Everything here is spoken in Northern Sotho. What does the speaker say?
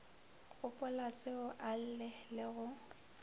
gopolaseo a lle le go